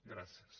gràcies